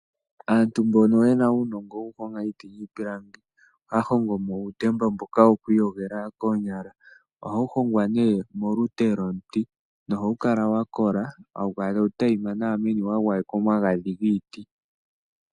Aantu mbono yena uunongo wokuhonga iiti niipilangi ohaya hongomo uutemba mbono wokwiiyogela koonyala mbono hawu hongwa molute lwomuti. Ohawu kala tawu tayima nawa wagwayekwa omagadhi giiti.